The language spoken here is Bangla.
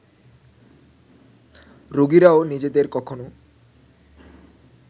রোগীরাও নিজেদের কখনো